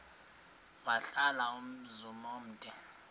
wahlala umzum omde